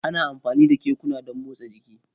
Ana amfani da kekuna don motsa jiki